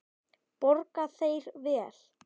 Borga þeir vel?